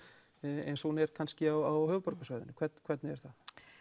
eins og hún er kannski á höfuðborgarsvæðinu hvernig er það